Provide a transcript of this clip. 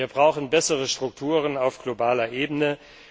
Nein. Wir brauchen bessere Strukturen auf globaler